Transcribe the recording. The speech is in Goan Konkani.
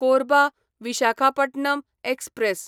कोरबा विशाखापटणम एक्सप्रॅस